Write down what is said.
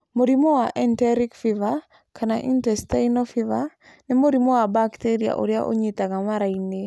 Mũrimũ wa enteric fever, kana intestinal fever, nĩ mũrimũ wa bakteria ũrĩa ũnyiitaga mara-inĩ.